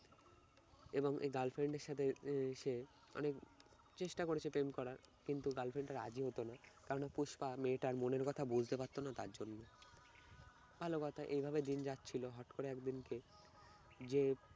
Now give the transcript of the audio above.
এবং এই girlfriend এর সাথে উহ সে অনেক চেষ্টা করেছে প্রেম করার কিন্তু girlfriend টা রাজি হতো না কারণ পুস্পা মেয়েটার মনের কথা বুঝতে পারত না তার জন্য। ভালো কথা এইভাবে দিন যাচ্ছিল হঠাৎ করে একদিনকে যে